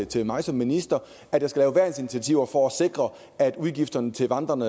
til mig som minister at jeg skal lave værnsinitiativer for at sikre at udgifterne til vandrende